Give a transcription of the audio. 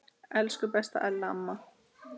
Elsku besta Ella amma.